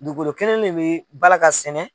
Dugukolo kelen de bi bala ka sɛnɛ.